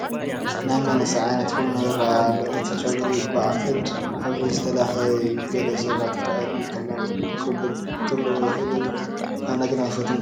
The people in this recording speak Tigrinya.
ናይ መንእሰይ ዓይነት ቁኖ ይርአ ኣሎ፡፡ እቲ ጨጉሪ ባእድ ሕብሪ ዝተለኸየ እዩ፡፡ ገለ ሰባት ባእድ ምቕላም ቅቡል ክገብርዎ ይኽእሉ እዮም፡፡ ኣነ ግን ኣይፈትዎን፡፡